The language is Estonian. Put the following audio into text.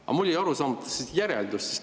Aga mulle jäi arusaamatuks järeldus.